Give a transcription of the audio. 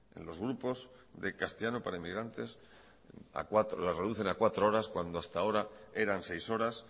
en los grupos de castellano para inmigrantes a cuatro les reducen a cuatro horas cuando hasta ahora eran seis horas